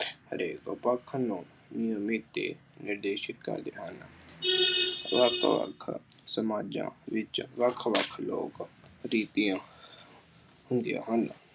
ਹਰੇਕ ਪੱਖ ਨੂੰ ਕਰਦੇ ਹਨ। ਵੱਖ ਵੱਖ ਸਮਾਜਾਂ ਵਿੱਚ ਵੱਖ ਵੱਖ ਲੋਕ ਰੀਤੀਆਂ ਹੁੰਦੀਆ ਹਨ।